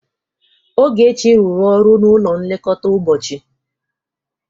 Ogechi rụrụ ọrụ n'ụlọ nlekọta ụbọchị.